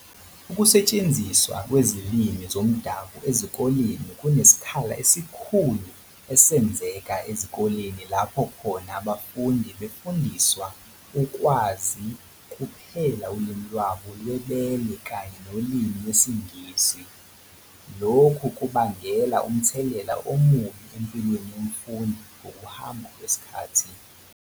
ukungasetshenziswa kwezilimi zomdabu ezikoleni kunesikhala esikhulu esenzeka ezikoleni lapho khona abafundi befundiswa ukwazi kuphela ulimi lwabo lwebele kanye nolimi lwesiNgisi, lokhu kubangela umthelela omubi empilweni yomfundi ngokuhamba kwesikhathi.